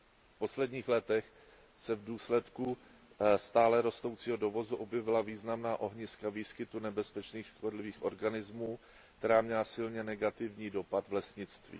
V posledních letech se v důsledku stále rostoucího dovozu objevila významná ohniska výskytu nebezpečných škodlivých organismů, která měla silně negativní dopad v lesnictví.